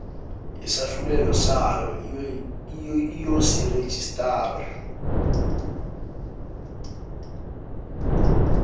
lesahlulelo sayo iyosirejistara